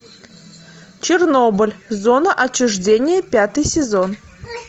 чернобыль зона отчуждения пятый сезон